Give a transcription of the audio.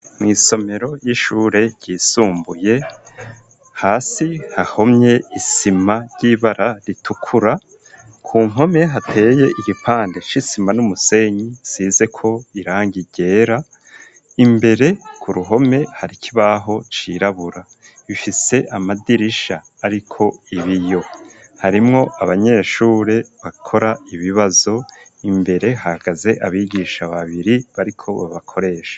Mw' isomero ry'ishure ryisumbuye hasi hahomye isima ry'ibara ritukura, ku mpome hateye igipande c'isima n'umusenyi risizeko irangi ryera imbere ku ruhome har'ikibaho cirabura bifise amadirisha ariko ibiyo harimwo abanyeshure bakora ibibazo imbere hagaze abigisha babiri bariko babakoresha.